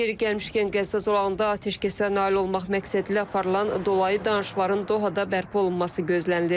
Yeri gəlmişkən, Qəzza zolağında atəşkəsə nail olmaq məqsədilə aparılan dolayı danışıqların Dohada bərpa olunması gözlənilir.